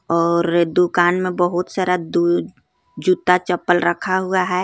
और दुकान में बहुत सारा दूद जूता चप्पल रखा हुआ है.